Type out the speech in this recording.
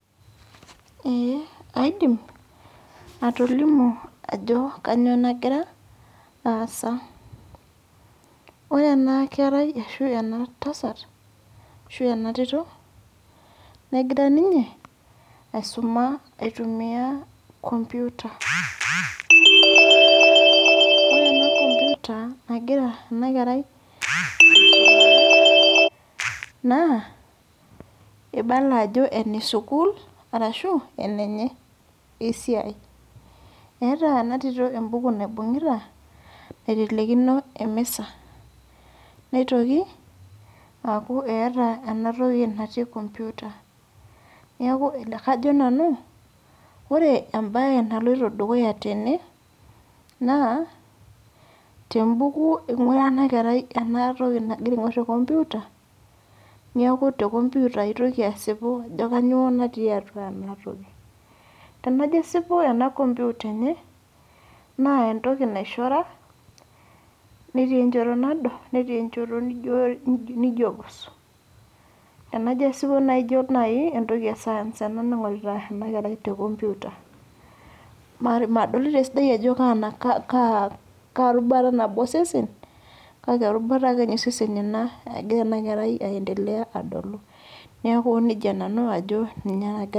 Ee, aidim, atolimu ajo kanyioo nagira, aasa. Ore enakerai ashu ena tasat, ashu enatito, negira ninye aisuma aitumia computer. Ore ena computer nagira enakerai naa, ibala ajo ene sukuul, arashu enenye esiai. Eeta enatito ebuku naibung'ita, naitelekino emisa. Nitoki, aku eeta enatoki natii computer. Neeku kajo nanu, ore ebae naloito dukuya tene, naa tebuku ing'ura enakerai enatoki nagira aing'or te computer, niaku te computer itoki asipu ajo kanyioo natii atua enatoki. Tenajo asipu ena computer enye, naa entoki naishora, netii enchoto nado, netii enchoto nijo pus. Enajo asipu naijo nai entoki e science ena naing'orita enakerai te computer. Madolita esidai ajo kaa rubata nabo osesen, kake erubata akenye osesen ena egira enakerai aendelea adolu. Neeku nejia nanu ajo ninye nagira